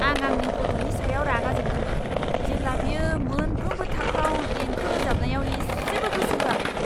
आं आंनि गथ'नि सायाव रागा जोंदोंमोन, जेब्ला बियो मोनफ्रोमबो थाखोआव देंखो रोजाबनायाव एसेबो गोसो होआखैमोन!